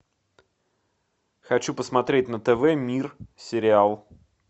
хочу посмотреть на тв мир сериал